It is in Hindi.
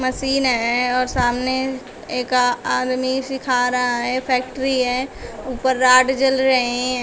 मशीन है और सामने एक आदमी सीखा रहा है फैक्ट्री है ऊपर रॉड जल रहे हैं।